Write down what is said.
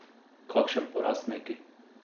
Kakšen poraz neki?